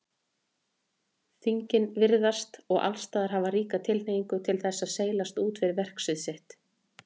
Þingin virðast og allsstaðar hafa ríka tilhneigingu til þess að seilast út fyrir verksvið sitt.